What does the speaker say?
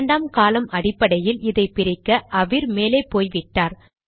இரண்டாம் காலம் அடிப்படையில் இதை பிரிக்க அவிர் மேலே போய்விட்டார்